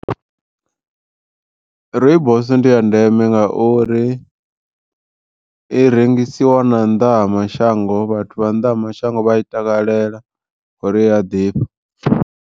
Rooibos ndi ya ndeme ngauri i rengisiwa na nnḓa ha mashango vhathu vha nnḓa ha mashango vha i takalela ngauri iya ḓifha.